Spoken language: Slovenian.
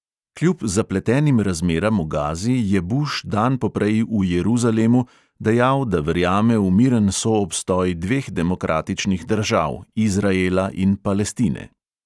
Kljub zapletenim razmeram v gazi je buš dan poprej v jeruzalemu dejal, da verjame v miren soobstoj dveh demokratičnih držav, izraela in palestine.